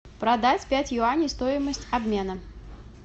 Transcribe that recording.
продать пять юаней стоимость обмена